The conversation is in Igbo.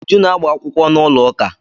Uju na agba-akwụkwọ n'ụlọụka.